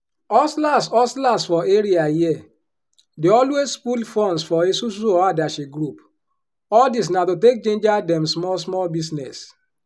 hustlers hustlers for area here dey always pool funds for esusu or adashi group all dis na to take jinja dem small small business.